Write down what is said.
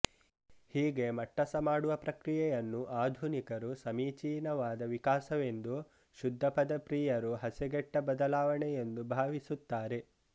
ಹೀಗೆಮಟ್ಟಸಮಾಡುವ ಪ್ರಕ್ರಿಯೆಯನ್ನು ಆಧುನಿಕರು ಸಮೀಚೀನವಾದ ವಿಕಾಸವೆಂದೂ ಶುದ್ಧಪದ ಪ್ರಿಯರು ಹಸೆಗೆಟ್ಟ ಬದಲಾವಣೆಯೆಂದೂ ಭಾವಿಸುತ್ತಾರೆ